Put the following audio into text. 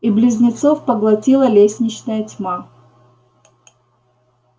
и близнецов поглотила лестничная тьма